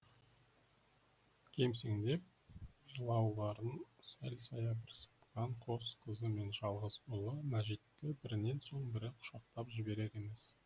кемсеңдеп жылауларын сәл саябырсытқан қос қызы мен жалғыз ұлы мәжитті бірінен соң бірі құшақтап жіберер емес